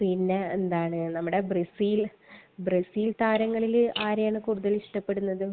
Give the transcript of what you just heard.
പിന്നെ, എന്താണ്? നമ്മടെ ബ്രസീൽ താരങ്ങളിൽ ആരെയാണ് കൂടുതൽ ഇഷ്ടപ്പെടുന്നത്?